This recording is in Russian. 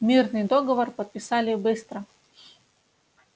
мирный договор подписали быстро